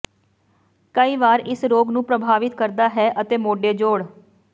ਕਈ ਵਾਰ ਇਸ ਰੋਗ ਨੂੰ ਪ੍ਰਭਾਵਿਤ ਕਰਦਾ ਹੈ ਅਤੇ ਮੋਢੇ ਜੋਡ਼